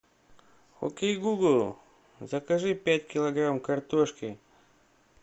окей гугл закажи пять килограмм картошки